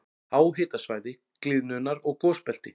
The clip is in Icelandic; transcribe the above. Háhitasvæði- gliðnunar- og gosbelti